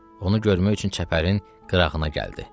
Onu görmək üçün çəpərin qırağına gəldi.